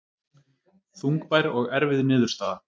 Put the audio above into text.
Þungbær og erfið niðurstaða